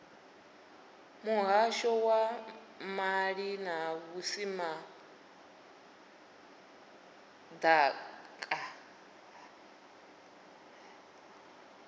muhasho wa maḓi na vhusimama ḓaka